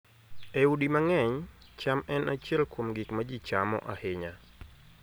E udi mang'eny, cham en achiel kuom gik ma ji chamo ahinya.